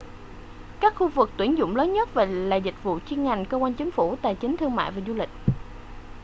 các khu vực tuyển dụng lớn nhất là dịch vụ chuyên ngành cơ quan chính phủ tài chính thương mại và du lịch